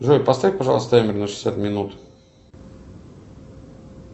джой поставь пожалуйста таймер на шестьдесят минут